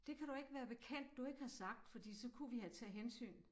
Det kan du ikke være bekendt du ikke har sagt fordi så kunne vi have taget hensyn